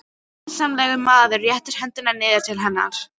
Vinsamlegur maður réttir höndina niður til hennar.